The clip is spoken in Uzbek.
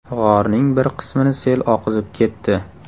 G‘orning bir qismini sel oqizib ketdi.